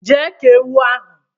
je kee ewu ahu